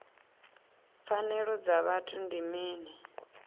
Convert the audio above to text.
pfanelo dza vhuthu ndi mini